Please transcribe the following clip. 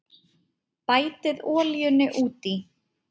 Bætið olíunni út í.